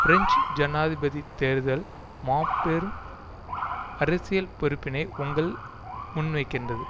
French ஜனாதிபதி தேர்தல் மாபெரும் அரசியல் பொறுப்பினை உங்கள் முன்வைக்கின்றது